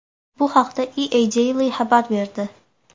Bu haqda EADaily xabar berdi .